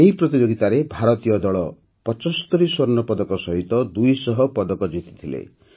ଏହି ପ୍ରତିଯୋଗିତାରେ ଭାରତୀୟ ଦଳ ପଚସ୍ତରୀ ସ୍ୱର୍ଣ୍ଣପଦକ ସହିତ ଦୁଇଶହ ପଦକ ଜିତିଥିଲେ